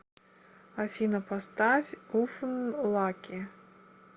афина поставь уфн лаки